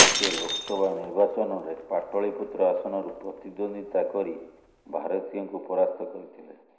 ସେ ଲୋକସଭା ନିର୍ବାଚନରେ ପାଟଳିପୁତ୍ର ଆସନରୁ ପ୍ରତିଦ୍ୱନ୍ଦିତା କରି ଭାରତୀଙ୍କୁ ପରାସ୍ତ କରିଥିଲେ